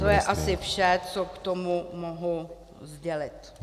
To je asi vše, co k tomu mohu sdělit.